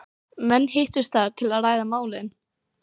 Menn hittust þar til að ræða málin.